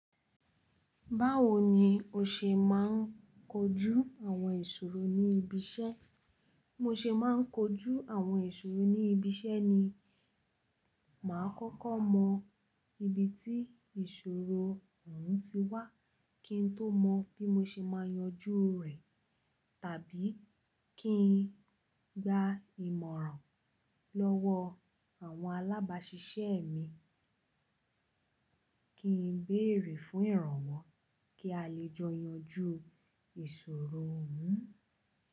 Báwo ni o ṣe máa ń koojú àwọn ìṣòro ní ibi iṣẹ́? Bí mo ṣe máa ń koojú àwọn ìṣòro ní ibi iṣẹ́ ni, màá kọ́kọ́ mọ ibi tí ìṣòro ọ̀hún ti wá kí n tó mọn bí mo ṣe máa yanjú rẹ̀. Tàbí kí n gba ìmọ̀ràn lọ́wọ́ àwọn alábáṣiṣẹ́ mi kí n bèèrè fún ìrànwọ́ kí a lè jọ yanjú ìṣòro ọ̀hún.